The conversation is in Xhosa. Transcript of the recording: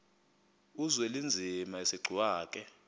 uzwelinzima asegcuwa ke